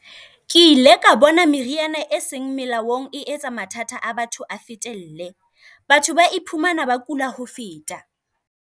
Ke ile ka bona meriana e seng melaong e etsa mathata a batho a fetelle. Batho ba iphumana ba kula ho feta.